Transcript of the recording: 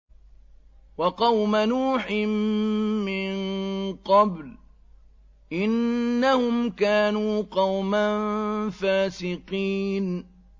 وَقَوْمَ نُوحٍ مِّن قَبْلُ ۖ إِنَّهُمْ كَانُوا قَوْمًا فَاسِقِينَ